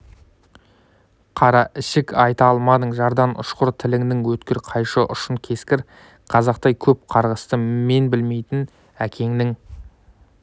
қараішік айта алмадың жардан ұшқыр тіліңнің өткір қайшы ұшын кескір қазақтай көп қарғысты мен білмеймін әкеңнің